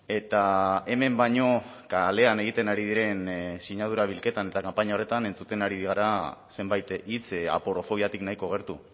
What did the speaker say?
eta hemen baino kalean egiten ari diren sinadura bilketan eta kanpaina horretan entzuten ari gara zenbait hitz aporofobiatik nahiko gertu